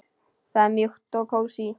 Það er mjúkt og kósí.